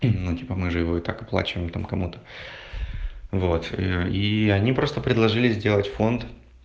ну типа мы же его и так оплачиваем там кому-то вот и они просто предложили сделать фонд